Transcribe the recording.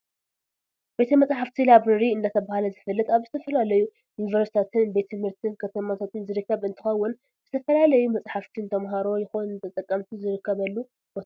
ቤተ-መፅሓፍቲ ላብረሪ እንዳተባሃለ ዝፍለጥ ኣብ ዝተፈላለዩ ዩኒቨርስትታትን ቤት ትምህርትን ከተማታትን ዝርከብ እንትከውን ዝተፈላለዩ መፃሕፍቲ ንተማሃሮ ይኩን ንተጠቀምቲ ዝርከበሉ ቦታ እዩ።